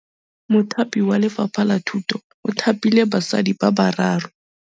Mothapi wa Lefapha la Thutô o thapile basadi ba ba raro.